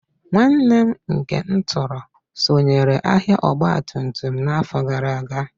Nwanne m nke m tọrọ sonyeere ahịa ọgbatumtum n'afọ gara aga